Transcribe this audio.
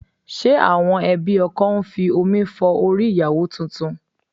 Ṣe àwọn ẹbí ọkọ ń fi omi fọ orí ìyàwó tuntun?